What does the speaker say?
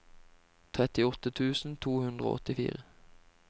trettiåtte tusen to hundre og åttifire